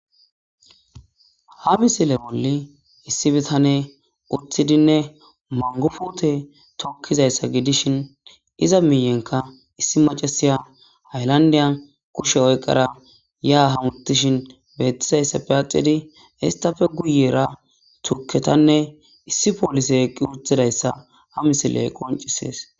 Ha misile bolli issi bitaney utidinne mango pute tokizaysa gidishin iza miyenkka issi macasiya haylandiyan kushiya oyqadae ya hamutishen betizaysappe atidi Istappe guyera tuketanne issi police eqi utidaysa ha misiley qoncises